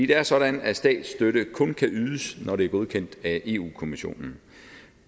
det er sådan at statsstøtte kun kan ydes når det er godkendt af eu kommissionen